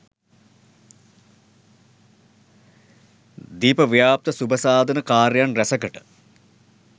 දීප ව්‍යාප්ත සුබසාධන කාර්යයන් රැසකට